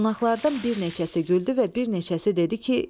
Qonaqlardan bir neçəsi güldü və bir neçəsi dedi ki,